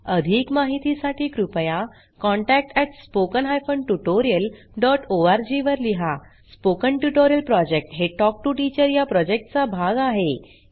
अधिक माहितीसाठी कृपया contact at spoken hyphen tutorial dot ORG वर लिहा स्पोकन ट्युटोरियल प्रॉजेक्ट हे टॉक टू टीचर या प्रॉजेक्टचा भाग आहे